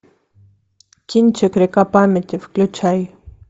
кинчик река памяти включай